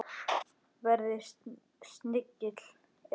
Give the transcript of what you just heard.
Verði snigill eða ormur.